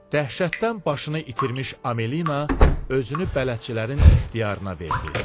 Dəhşətdən başını itirmiş Amelina özünü bələdçilərin ixtiyarına verdi.